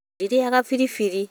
Ndĩrĩaga firifiri